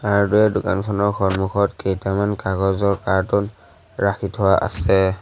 Hardware দোকানখনৰ সন্মুখত কেইটামান কাগজৰ কাৰ্টুন ৰাখি থোৱা আছে।